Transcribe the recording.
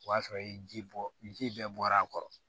O y'a sɔrɔ i ye ji bɔ ji bɛɛ bɔra a kɔrɔ